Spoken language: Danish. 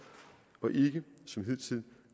og ikke som hidtil